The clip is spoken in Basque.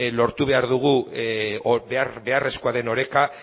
lortu behar dugu behar beharrezkoa den oreka